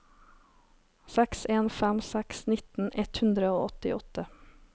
seks en fem seks nitten ett hundre og åttiåtte